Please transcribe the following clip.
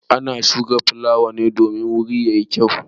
Ana shuka fulawa domin wuri ya yi gyau.